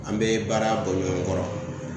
An be baara bɔ ɲɔgɔn kɔrɔ